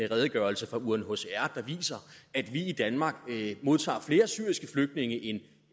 redegørelse fra unhcr der viser at vi i danmark modtager flere syriske flygtninge end